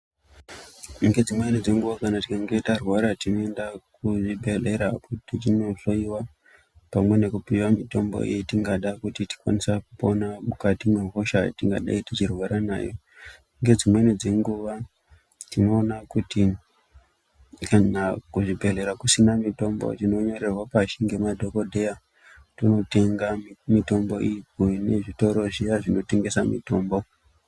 Ngedzimweni dzenguwa, kana tikange tarwara tinoenda kuzvibhedhlera kuti tinohloyiwa pamwe nekupiwa mitombo iyo yetingada kuti tikwanisa kupona mukati mwehosha yatingadai tichirwara nayo. Ngedzimweni dzenguwa tinoona kuti kana kuzvibhedhlera kusina mitombo, tinonyorerwa pashi ngemadhokodheya tootenga mitombo iyi kune zvitoro zviya zvinotengesa mitombo.